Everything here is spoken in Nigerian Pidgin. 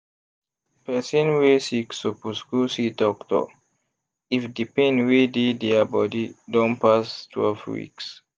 person wey sick suppose go see doctor if the pain wey dey dia body don pass twelve weeks